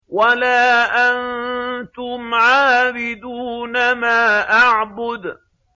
وَلَا أَنتُمْ عَابِدُونَ مَا أَعْبُدُ